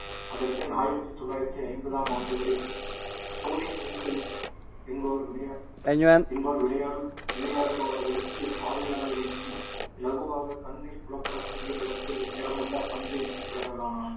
அதன் பின் ஆயிரத்தி தொள்ளாயிரத்தி ஐம்பதாம் ஆண்டுகளில் டோனி டிங்கிள் என்பவர் விளை~ என்பவர் விளையா~ விளையாடுபவர்களுக்கு பார்வையாளர்களுக்கும் இலகுவாக கண்ணில் புலப்படக்கூடிய நேரத்தில் திறமுள்ள பந்தை தேடலானார்